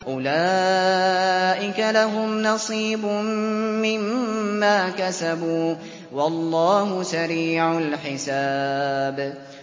أُولَٰئِكَ لَهُمْ نَصِيبٌ مِّمَّا كَسَبُوا ۚ وَاللَّهُ سَرِيعُ الْحِسَابِ